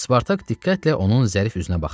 Spartak diqqətlə onun zərif üzünə baxdı.